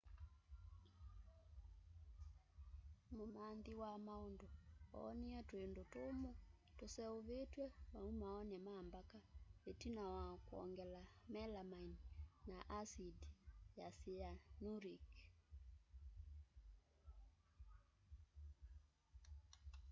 mumanthi wa maundu oonie twindu tumu tuseuvitw'e maumooni ma mbaka itina wa kwongela melamine na asindi ya cyanuric